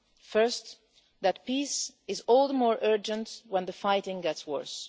First, that peace is all the more urgent when the fighting gets worse